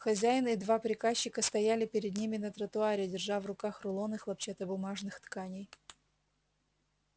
хозяин и два приказчика стояли перед ними на тротуаре держа в руках рулоны хлопчатобумажных тканей